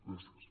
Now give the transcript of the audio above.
gràcies